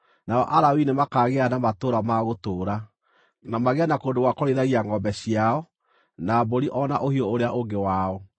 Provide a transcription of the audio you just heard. Nao Alawii nĩmakaagĩa na matũũra ma gũtũũra, na magĩe na kũndũ gwa kũrĩithagia ngʼombe ciao, na mbũri, o na ũhiũ ũrĩa ũngĩ wao.